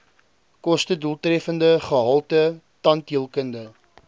kostedoeltreffende gehalte tandheelkunde